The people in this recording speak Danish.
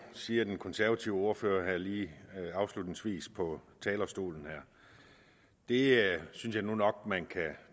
siger den konservative ordfører lige afslutningsvis på talerstolen her det synes jeg nu nok man kan